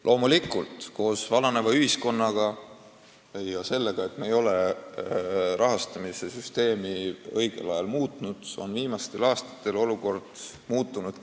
Loomulikult on seoses vananeva ühiskonnaga ja sellega, et me ei ole rahastamissüsteemi õigel ajal muutnud, viimastel aastatel olukord kriitiliseks muutunud.